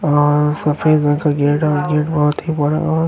अअअ सफ़ेद रंग का गेट और गेट बहुत ही बड़ा और --